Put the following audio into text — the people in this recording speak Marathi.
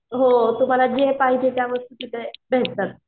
हो तुम्हाला जे पाहिजे त्या वस्तू तिथे भेटतात.